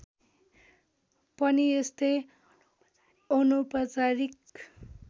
पनि यस्तै अनौपचारिक